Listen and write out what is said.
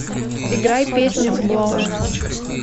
играй песню блоу